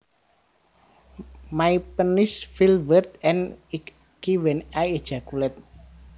My penis feels weird and icky when I ejaculate